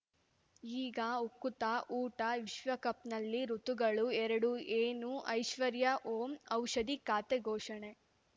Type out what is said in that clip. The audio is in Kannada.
ಈಗ ಉಕುತ ಊಟ ವಿಶ್ವಕಪ್‌ನಲ್ಲಿ ಋತುಗಳು ಎರಡು ಏನು ಐಶ್ವರ್ಯಾ ಓಂ ಔಷಧಿ ಖಾತೆ ಘೋಷಣೆ